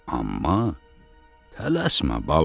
Amma tələsmə, bala.